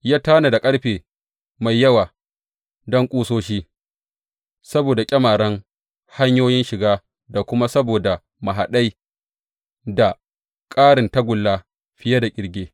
Ya tanada ƙarfe mai yawa don ƙusoshi saboda ƙyamaren hanyoyin shiga da kuma saboda mahaɗai, da ƙarin tagulla fiye da ƙirge.